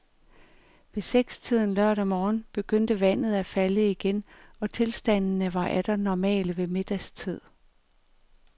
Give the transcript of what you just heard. Ved sekstiden lørdag morgen begyndte vandet at falde igen og tilstandene var atter normale ved middagstid.